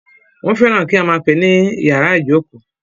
Wọ́n fẹ́ràn kí a máà pè é ní ìyàrá ìjókó.